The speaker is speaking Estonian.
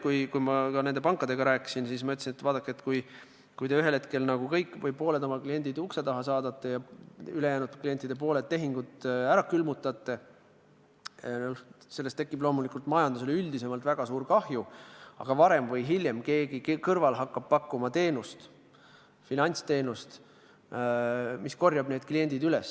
Kui ma pankadega rääkisin, siis ütlesin, et vaadake, kui te ühel hetkel kõik või pooled oma kliendid ukse taha saadate ja ülejäänud klientidel pooled tehingud ära külmutate, siis loomulikult tähendab see majandusele üldisemalt väga suurt kahju, aga varem või hiljem hakkab keegi kõrval pakkuma finantsteenust ja korjab need kliendid üles.